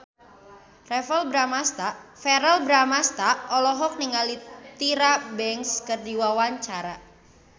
Verrell Bramastra olohok ningali Tyra Banks keur diwawancara